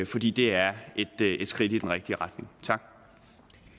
fordi det er et skridt i den rigtige retning